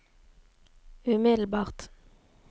umiddelbart